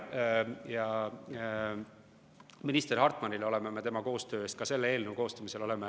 Ja minister Hartmanile oleme me tänulikud koostöö eest ka selle eelnõu koostamisel.